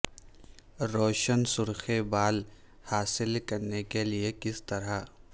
روشن سرخ بال حاصل کرنے کے لئے کس طرح